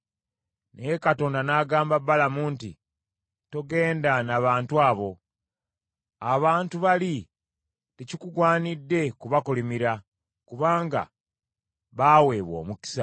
Naye Katonda n’agamba Balamu nti, “Togenda na bantu abo. Abantu bali tekikugwanidde kubakolimira, kubanga baaweebwa omukisa.”